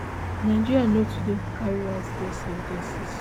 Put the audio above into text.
nigeria no dey too carry out death sen ten ces